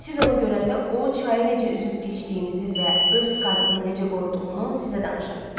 Siz onu görəndə o, çayı necə üzüb keçdiyimizi və öz skalpını necə qoruduğunu sizə danışar.